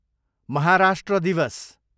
महाराष्ट्र दिवस